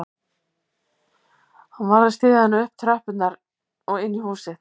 Hann varð að styðja hana upp tröppurnar og inn í húsið